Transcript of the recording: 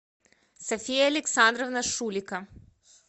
софия александровна шулико